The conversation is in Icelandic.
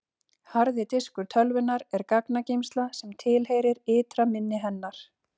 Harði diskur tölvunnar er gagnageymsla sem tilheyrir ytra minni hennar.